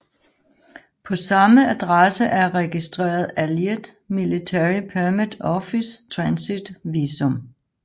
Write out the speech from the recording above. På samme adresse er registreret Allied Military Permit Office Transit Visum